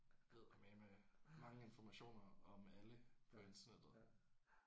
Eddermaneme mange information om alle på internettet